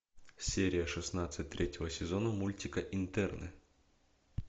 серия шестнадцать третьего сезона мультика интерны